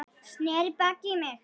Sneri baki í mig.